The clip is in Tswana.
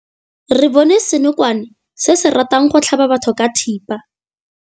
Re bone senokwane se se ratang go tlhaba batho ka thipa.